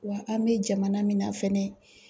Wa an bɛ jamana min na fɛnɛ